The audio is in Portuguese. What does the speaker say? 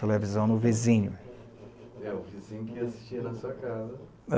Televisão no vizinho. É o vizinho que assistia na sua casa